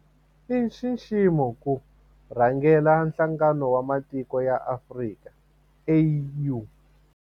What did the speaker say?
I nxiximo ku rhangela Nhlangano wa Matiko ya Afrika, AU.